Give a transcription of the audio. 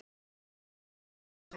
Þetta gat ekki verið satt.